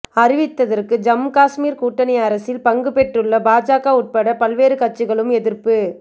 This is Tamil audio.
அறிவித்ததற்கு ஜம்மு காஷ்மீர் கூட்டணி அரசில் பங்குபெற்றுள்ள பாஜக உட்பட பல்வேறு கட்சிகளும் எதிர்ப்பு